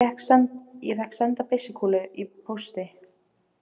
Fékk senda byssukúlu í pósti